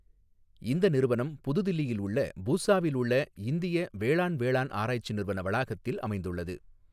இந்த நிறுவனம் புது தில்லியில் உள்ள பூசாவில் உள்ளஇந்திய வேளாண் வேளாண் ஆராய்ச்சி நிறுவன வளாகத்தில் அமைந்துள்ளது.